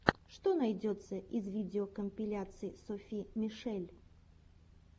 что найдется из видеокомпиляций софи мишель